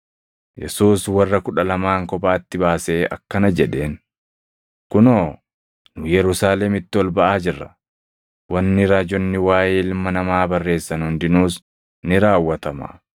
Yesuus warra kudha lamaan kophaatti baasee akkana jedheen; “Kunoo nu Yerusaalemitti ol baʼaa jirra; wanni raajonni waaʼee Ilma Namaa barreessan hundinuus ni raawwatama.